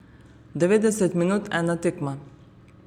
Devetdeset minut, ena tekma.